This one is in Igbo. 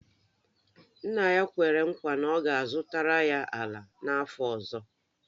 Nna ya kwere nkwa na ọ ga-azụtara ya ala n’afọ ọzọ